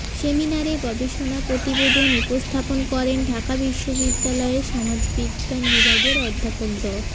সেমিনারে গবেষণা প্রতিবেদন উপস্থাপন করেন ঢাকা বিশ্ববিদ্যালয়ের সমাজ বিজ্ঞান বিভাগের অধ্যাপক ড